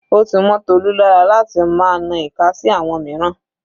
Ó ti mọ́ Tolu lára láti máa na ìka sí àwọn mìíràn.